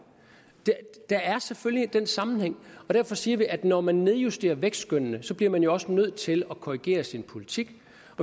der er selvfølgelig den sammenhæng og derfor siger vi at når man nedjusterer vækstskønnene bliver man jo også nødt til at korrigere sin politik